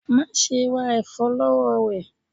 Ma ṣe ra ẹfọ lọwọ rẹ!